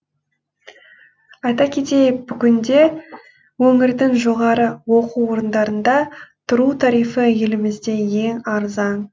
айта кетейік бүгінде өңірдің жоғары оқу орындарында тұру тарифі елімізде ең арзан